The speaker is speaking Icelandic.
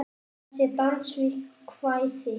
Þessi dans við kvæði.